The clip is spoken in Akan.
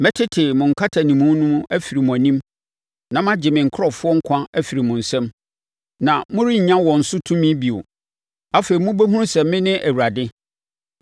Mɛtete mo nkatanimu no mu afiri mo anim, na magye me nkurɔfoɔ nkwa afiri mo nsam, na morennya wɔn so tumi bio. Afei mobɛhunu sɛ me ne Awurade.